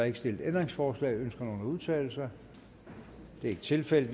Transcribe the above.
ikke stillet ændringsforslag ønsker nogen at udtale sig det er ikke tilfældet